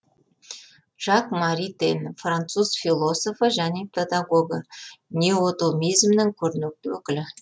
жак маритен француз философы және педагогі неотомизмнің көрнекті өкілі